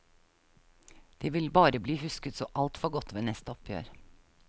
Det vil bare bli husket så altfor godt ved neste oppgjør.